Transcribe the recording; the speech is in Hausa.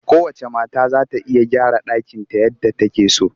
Kowacce mata za ta iya gyara ɗakinta yadda take so